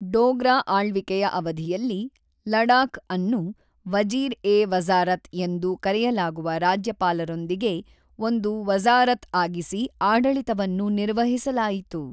ಡೋಗ್ರಾ ಆಳ್ವಿಕೆಯ ಅವಧಿಯಲ್ಲಿ ಲಡಾಖ್ಅನ್ನು ವಜೀರ್-ಎ-ವಜಾ಼ರತ್ ಎಂದು ಕರೆಯಲಾಗುವ ರಾಜ್ಯಪಾಲರೊಂದಿಗೆ ಒಂದು ವಜಾ಼ರತ್ಆಗಿಸಿ ಆಡಳಿತವನ್ನು ನಿರ್ವಹಿಸಲಾಯಿತು.